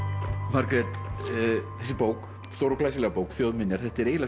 Margrét þessi bók stóra og glæsilega bók þjóðminjar þetta er eiginlega